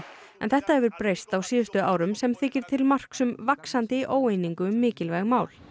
en þetta hefur breyst á síðustu árum sem þykir til marks um vaxandi óeiningu um mikilvæg mál